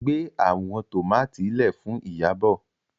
gbé àwọn tomati lẹẹ Fún Iyabo.